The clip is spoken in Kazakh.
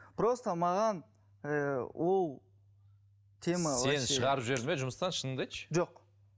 просто маған ы ол тема сені шығарып жіберді ме жұмыстан шыныңды айтшы жоқ